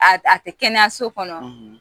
A a tɛ kɛnɛya so kɔnɔ;